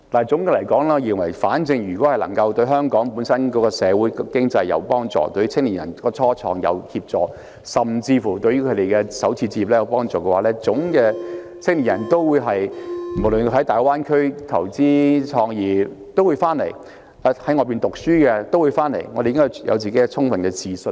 總結來說，我認為只要政府的措施能對香港社會經濟有幫助，對青年人創業有幫助，甚至對他們首次置業有幫助，無論是在大灣區投資創業或在外求學的青年人都會回來，我們應該對香港有充分的自信。